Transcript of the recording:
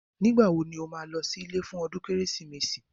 Nígbà wo ni ó máa lọ sí ilé fún ọdún Kérésìmesì